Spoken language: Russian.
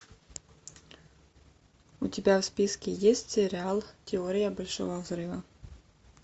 у тебя в списке есть сериал теория большого взрыва